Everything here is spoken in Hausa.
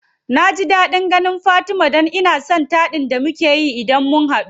Naji daɗin ganin fatima dan ina son taɗin da mukeyi idan mun hadu.